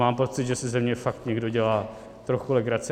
Mám pocit, že si ze mě fakt někdo dělá trochu legraci.